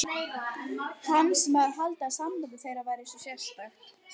Hann sem hafði haldið að samband þeirra væri svo sérstakt.